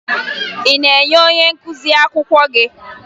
Ị na-enye onye nkụzi akwụkwọ gị?